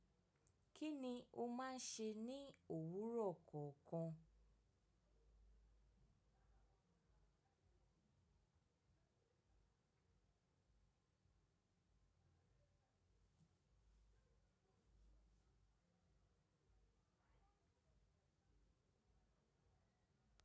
Kí ni o máa ń ṣe ní òwúrọ̀ kọ̀ọ̀kan?